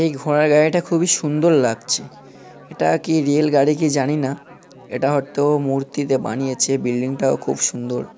এই ঘোড়ার গাড়িটা খুবই সুন্দর লাগছে এটা কি রেল গাড়ি কি জানিনা এটা হয়তো মূর্তিতে বানিয়েছে বিল্ডিং -টাও খুব সুন্দর।